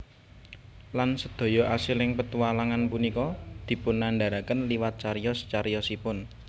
Lan sedaya asiling petualangan punika dipunandahraken liwat cariyos cariyosipun